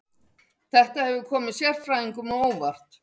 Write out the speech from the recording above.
Þetta hefur komið sérfræðingum á óvart